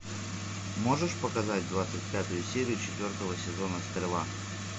можешь показать двадцать пятую серию четвертого сезона стрела